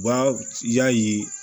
U b'a y'a ye